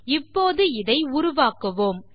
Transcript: இப்போது இதை உருவாக்குவோம்